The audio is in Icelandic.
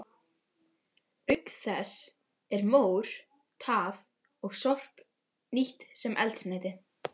Auk þess er mór, tað og sorp nýtt sem eldsneyti.